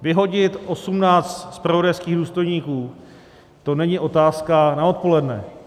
Vyhodit 18 zpravodajských důstojníků to není otázka na odpoledne.